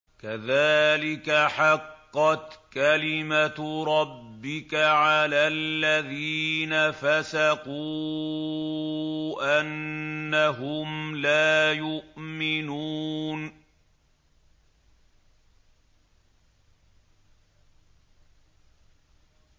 كَذَٰلِكَ حَقَّتْ كَلِمَتُ رَبِّكَ عَلَى الَّذِينَ فَسَقُوا أَنَّهُمْ لَا يُؤْمِنُونَ